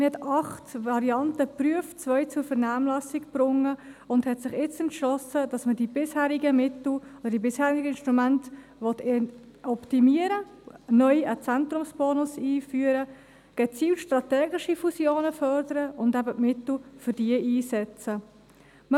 Man hat acht Varianten geprüft, zwei zur Vernehmlassung gebracht und sich jetzt entschlossen, dass man die bisherigen Mittel oder die bisherigen Instrumente optimieren, neu einen Zentrumsbonus einführen, gezielt strategische Fusionen fördern und eben die Mittel für diese einsetzen will.